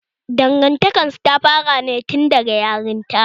Dangantakar su ta fara ne tun daga yaran ta